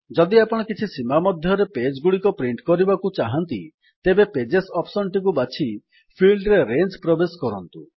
ଯଦି ଆପଣ କିଛି ସୀମା ମଧ୍ୟରେ ପେଜ୍ ଗୁଡିକ ପ୍ରିଣ୍ଟ୍ କରିବାକୁ ଚାହାଁନ୍ତି ତେବେ ପେଜେସ୍ ଅପ୍ସନ୍ ଟିକୁ ବାଛି ଫିଲ୍ଡରେ ରେଞ୍ଜ୍ ପ୍ରବେଶ କରନ୍ତୁ